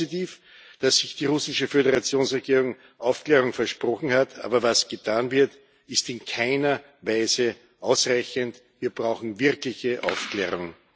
Es ist positiv, dass die russische Föderationsregierung Aufklärung versprochen hat. Aber was getan wird, ist in keiner Weise ausreichend. Wir brauchen wirkliche Aufklärung.